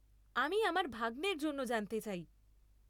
আমি আমার ভাগ্নের জন্য জানতে চাই।